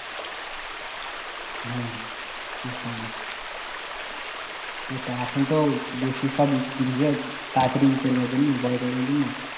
বুজতে পারলাম ওটাই এখন তো বেশি সব ই দিযে দিচ্ছে তারা তারই ই করবার জন্য